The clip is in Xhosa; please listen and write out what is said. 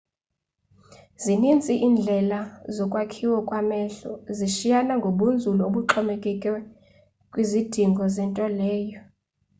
zinintsi indlela zokwakhiwa kwamehlo zishiyana ngobunzulu obuxhomekeke kwizidingo zento leyo